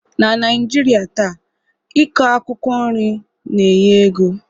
Na Naijirịa taa,i kọ akwụkwọ nri na-enye ego